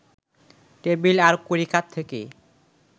table আর কড়িকাঠ থেকে